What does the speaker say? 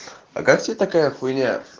а как тебе такая хуйня